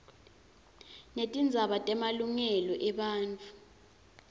netindzaba temalungelo ebantfu